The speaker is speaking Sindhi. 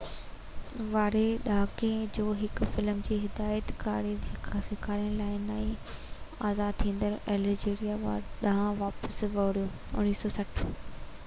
1960 واري ڏهاڪي ۾ هو فلم جي هدايت ڪاري سيکارڻ لاءِ نئين آزاد ٿيندڙ الجيريا ڏانهن واپس وريو